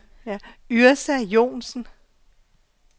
Yrsa Johnsen